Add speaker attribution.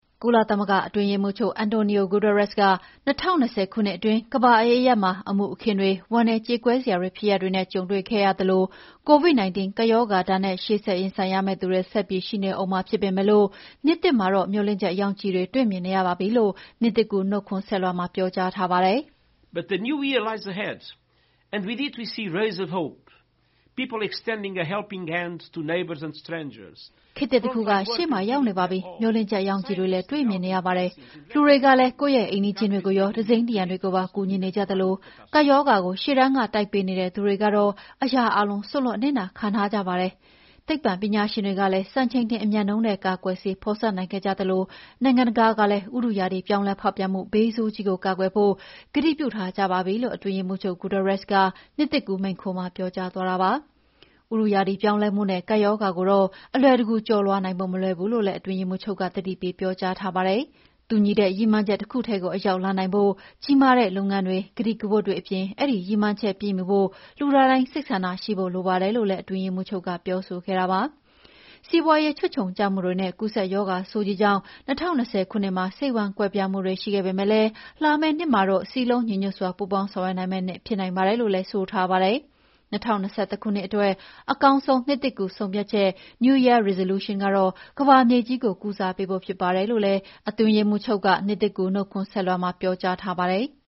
Speaker 1: ကုလသမဂ္ဂအတွင်းရေးမှူးချုပ် Antonio Guterres က၂၀၂၀ ခုနှစ်အတွင်း ကမ္ဘာအရပ်ရပ်မှာ အမှုအခင်းတွေ၊ ဝမ်းနည်းကြေကွဲစရာဖြစ်ရပ်တွေနဲ့ ကြုံတွေ့ခဲ့ရသလို COVID-19 ကပ်ရောဂါဒဏ်နဲ့ ရင်ဆိုင်ရမယ့်သူတွေဆက်ပြီး ရှိနေဦးမှာဖြစ်ပေမဲ့ နှစ်သစ်မှာတော့ မေ ျှာ်လင့်ချက်ရောင်ခြည်တွေ တွေ့မြင့်နေရပါပြီလို့ နှစ်သစ်ကူး နှုတ်ခွန်းဆက်လွှာမှာ ပြောထားပါတယ်။
Speaker 2: “ခေတ်သစ
Speaker 1: ်တခုက ရှေ့မှာရောက်နေပါပြီ။ မေ ျှာ်လင့်ချက်ရောင်ခြည်တွေ တွေ့မြင်နေရပါတယ်။ လူတွေကလည်း ကိုယ့်ရဲ့ အိမ်နီးချင်းတွေကိုရော၊ သူစိမ်းတွေကိုပါ ကူညီနေကြသလို ကပ်ရောဂါကို ရှေ့တန်းကနေ တိုက်ပေးနေတဲ့ သူတွေကတော့ အရာအားလုံး စွန့်လွှတ်အနစ်နာခံထားကြပါတယ်။ သိပ္ပံပညာရှင်တွေလည်း စံချိန်တင်အမြန်နှုန်းနဲ့ ကာကွယ်ဆေးဖော်စပ်နိုင်ခဲ့ကြသလို နိုင်ငံတွေကာလည်း ဥတုရာသီပြောင်းလဲဖောက်ပြန်မှုဘေးဆိုးကြီးကို ကာကွယ်ဖို့ ကတိပြုထားကြပါပြီ။" လို့ အတွင်းရေးမှူးချုပ် Guterres ကနှစ်သစ်ကူးမိန့်ခွန်းမှာပြောကြားသွားတာပါ။ ဥတုရာသီပြောင်းလဲမှုနဲ့ ကပ်ရောဂါကိုတော့ အလွယ်တကူ ကျော်လွှားနိုင်ဖို့ မလွယ်ဘူးလို့လည်း အတွင်းရေးမှူးချုပ်က သတိပေးပြောကြားထားပါတယ်။ တူညီတဲ့ရည်မှန်းချက်တခုထဲကို အရောက်လှမ်းနိုင်ဖို့ ကြီးမားတဲ့လုပ်ငန်းတွေ၊ ကတိကဝတ်တွေအပြင် အဲဒီရည်မှန်ချက်ပြည့်မှီဖို့ လူသားတိုင်း စိတ်ဆန္ဒရှိဖို့လိုပါတယ်လို့လည်း အတွင်းရေးမှူးချုပ်ကပြောဆိုခဲ့ပါတယ်။ စီးပွါးရေးခြွတ်ခြုံကျမှုတွေနဲ့ ကူးစက်ရောဂါဆိုးကြီးကြောင့် ၂၀၂၀ ခုနှစ်မှာစိတ်ဝမ်းကွဲပြားမှုရှိခဲ့ပေမဲ့ လာမယ့်နှစ်မှာတော့ စည်းလုံးညီညွှတ်စွာ ပူးပေါင်းဆောင်ရွက်နိုင်မယ့် နှစ်ဖြစ်နိုင်ပါတယ်လို့လည်း ဆိုပါတယ်။ ၂၀၂၁ ခုနှစ်အတွက် အကောင်းဆုံး နှစ်သစ်ကူးဆုံးဖြတ်ချက် New Year Resolution ကတော့ ကမ္ဘာမြေကြီးကို ကုစားပေးဖို့ဖြစ်ပါတယ်လို့လည်း အတွင်းရေးမှူးချုပ်က နှစ်သစ်ကူးနှုတ်ခွန်းဆက်လွှာမှာ ပြောကြားခဲ့ပါတယ်။